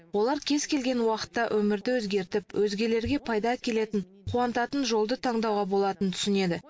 олар кез келген уақытта өмірді өзгертіп өзгелерге пайда әкелетін қуантатын жолды таңдауға болатынын түсінеді